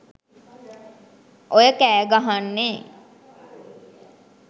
ඔය කෑ ගහන්නේ